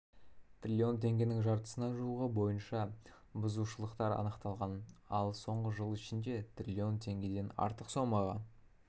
трлн теңгенің жартысына жуығы бойынша бұзушылықтар анықталған ал соңғы жыл ішінде трлн теңгеден артық сомаға